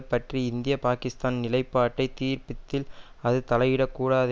பற்றி இந்திய பாக்கிஸ்தான் நிலைப்பாட்டை தீர்ப்பத்தில் அது தலையிடக்கூடாது